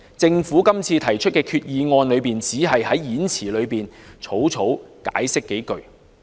政府這次提出擬議決議案，只在動議演辭中草草解釋數句。